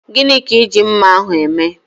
Gini ka I ji mma ahu eme?